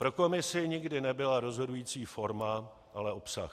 Pro Komisi nikdy nebyla rozhodující forma, ale obsah.